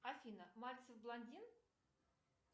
афина мальцев блондин